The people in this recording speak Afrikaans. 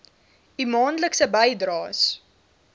u maandelikse bydraes